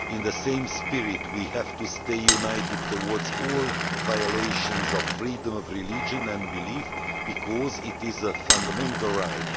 In the same spirit we have to stay united towards all violations of freedom of religion and belief, because it is a fundamental right.